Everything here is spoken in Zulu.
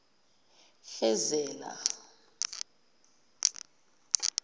fezela